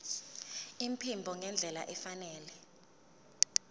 iphimbo ngendlela efanele